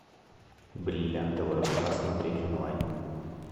бриллиантовая рука смотреть онлайн